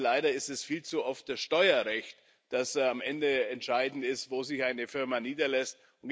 Leider ist es viel zu oft das Steuerrecht, das am Ende entscheidend dafür ist, wo sich eine Firma niederlässt.